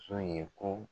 So ye ko